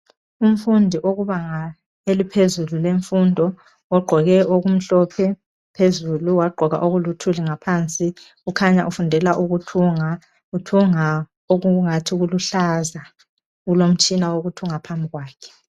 Umfundi okubanga eliphezulu lemfundo ugqoke okumhlophe phezulu wagqoka okuluthuli ngaphansi kukhanya ufundela ukuthunga uthunga okungathi kuluhlaza kulomtshina wokuthunga phambi kwakhe.